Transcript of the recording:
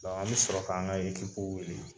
an bi sɔrɔ ka an ka wuli